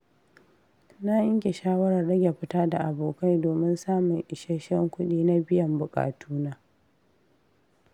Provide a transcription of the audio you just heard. Na yanke shawarar rage fita da abokai domin samun isasshen kudi na biyan bukatuna.